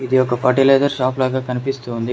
ఇది ఒక fertiliser shop లాగా కనిపిస్తోంది.